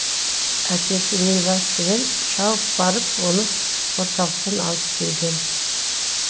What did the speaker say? әкесі нивасымен шауып барып оны орталықтан алып келген